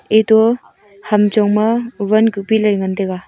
eto hamchong ma wan kupi lai ngan taiga.